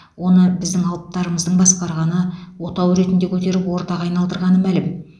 оны біздің алыптарымыздың басқарғаны отау ретінде көтеріп ордаға айналдырғаны мәлім